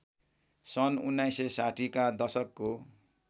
सन् १९६० का दशकको